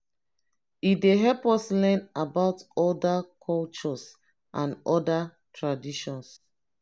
e dey help us learn about other cultures and other traditions.